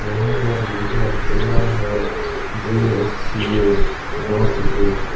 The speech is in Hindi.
यहां पर लिखा हुआ है जे_एस_सी_ए नॉर्थ गेट ।